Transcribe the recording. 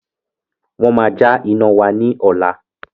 Wọn má ja iná wá ní ọ̀la